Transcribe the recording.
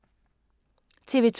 TV 2